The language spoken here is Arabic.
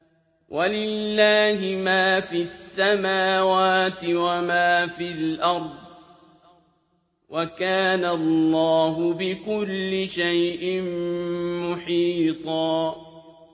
وَلِلَّهِ مَا فِي السَّمَاوَاتِ وَمَا فِي الْأَرْضِ ۚ وَكَانَ اللَّهُ بِكُلِّ شَيْءٍ مُّحِيطًا